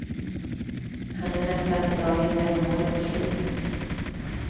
Han är nästan på dagen jämnårig med flyget.